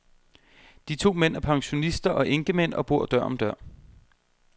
De to mænd er pensionister og enkemænd og bor dør om dør.